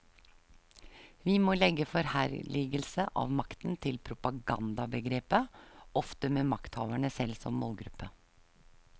Vi må legge forherligelse av makten til propagandabegrepet, ofte med makthaverne selv som målgruppe.